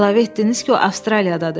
Əlavə etdiniz ki, o Avstraliyadadır.